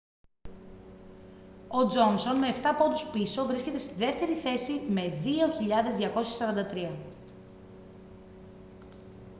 ο τζόνσον με εφτά πόντους πίσω βρίσκεται στη δεύτερη θέση με 2.243